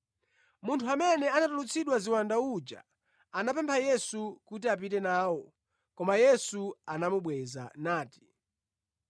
Munthu amene anatulutsidwa ziwanda uja, anapempha Yesu kuti apite nawo, koma Yesu anamubweza nati,